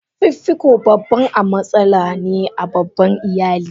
Fifiko babban a matsala ne a babban iyali.